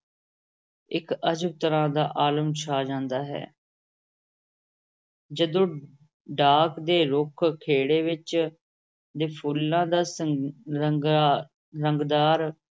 ਇਕ ਅਜਬ ਤਰ੍ਹਾਂ ਦਾ ਆਲਮ ਛਾ ਜਾਂਦਾ ਹੈ ਜਦੋਂ ਢਾਕ ਦੇ ਰੁੱਖ ਖੇੜੇ ਵਿਚ ਦੇ ਫੁੱਲਾਂ ਦਾ ਸੰ ਰੰਗਾ ਰੰਗਦਾਰ